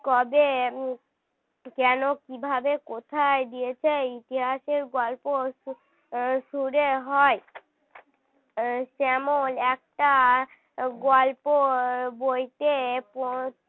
কবে কেন কী ভাবে কোথায় গিয়েছে ইতিহাসের গল্প শুরু হয় যেমন একটা গল্প বইতে পড়